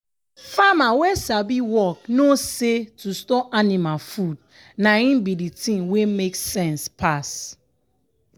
farmer wey sabi work no say to store anima food na im bi de tin wey make sense pass.